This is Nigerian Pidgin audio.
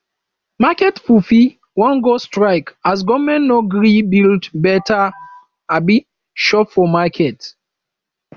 market pipu wan go strike as government no gree build beta um shop for market